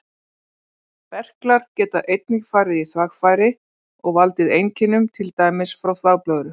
Berklar geta einnig farið í þvagfæri og valdið einkennum, til dæmis frá þvagblöðru.